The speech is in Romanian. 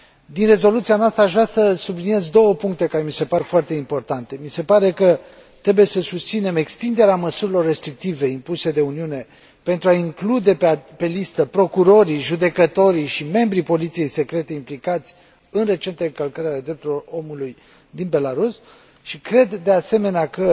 Din rezoluția noastră aș vrea să subliniez două puncte care mi se par foarte importante mi se pare că trebuie să susținem extinderea măsurilor restrictive impuse de Uniune, pentru a include pe listă procurorii, judecătorii și membrii poliției secrete implicați în recentele încălcări ale drepturilor omului din Belarus și cred, de asemenea, că,